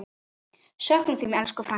Söknum þín, elsku frænka.